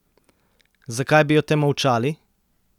Zakaj bi o tem molčali?